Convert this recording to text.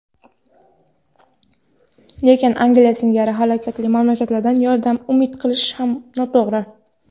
lekin Angliya singari halokatli mamlakatdan yordam umid qilish ham noto‘g‘ri.